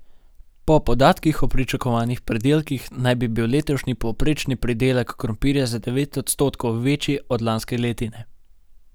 Po podatkih o pričakovanih pridelkih naj bi bil letošnji povprečni pridelek krompirja za devet odstotkov večji od lanske letine.